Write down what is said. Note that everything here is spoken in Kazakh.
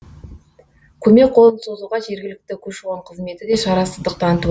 көмек қолын созуға жергілікті көші қон қызметі де шарасыздық танытып